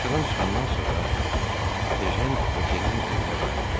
Tamaşadan çıxandan sonra Ejen Vokenin evinə qayıtmadı.